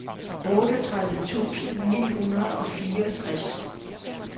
otteogtredive tusind ni hundrede og fireogtres